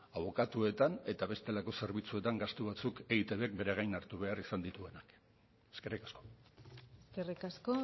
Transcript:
abokatuetan eta bestelako zerbitzuetan gastu batzuk eitbk bere gain hartu behar izan dituena eskerrik asko eskerrik asko